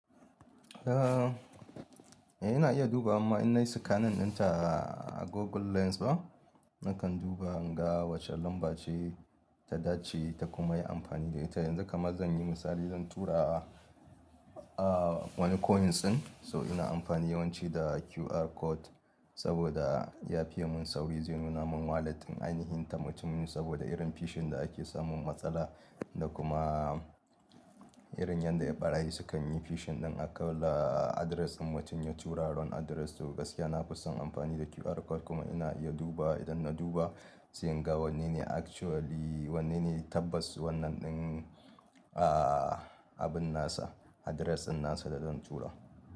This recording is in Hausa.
Eh, ina iya duba amma in na yi scanning ɗinta a Google Lens ba. Nakan duba in ga wace lamba ce ta dace ta kuma yi amfani da ita. Yanzu kamar zan yi misali, zan tura a wani coins ɗin. So ina amfani yawanci da QR code saboda ya fi yi mun sauri zai nuna mun walleting, ainihin ta mutumin saboda irin fishing da ake samun matsala da kuma irin yadda ɓarayi sukan yi fishing ɗin akawar da address ɗin mutum ya tura wrong address. To gaskiya na fi son amfani da QR code kuma ina iya dubawa idan na duba sai in ga wanne ne actually, wanne ne tabbas wannan ɗin abin nasa address ɗin nasa da zan tura.